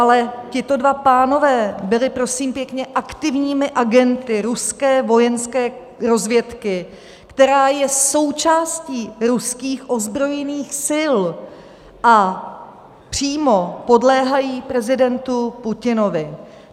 Ale tito dva pánové byli prosím pěkně aktivními agenty ruské vojenské rozvědky, která je součástí ruských ozbrojených sil a přímo podléhá prezidentu Putinovi.